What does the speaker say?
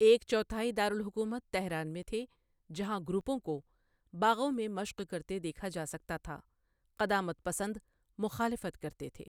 ایک چوتھائی دارالحکومت تہران میں تھے، جہاں گروپوں کو باغوں میں مشق کرتے دیکھا جا سکتا تھا، قدامت پسند مخالفت کرتے تھے۔